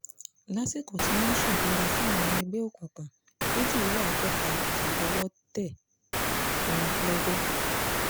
lásìkò tí wọ́n ń ṣèbúra fáwọn ọmọ ẹgbẹ́ òkùnkùn méjìléláàádọ́ta yìí lọ́wọ́ tẹ̀ wọ́n lọ́gọ́